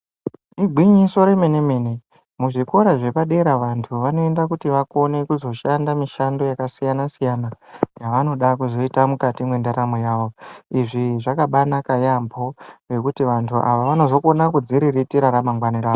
Igwinyiso remene mene muzvikora zvepadera vantu vanoenda kuti vazokone kushanda mishando yavo yavanoda kuzoita mukati mendaramo yavo izvi zvakabanaka yaambo nekuti vantu ava vanozokona kudziriritira ramangwani ravo.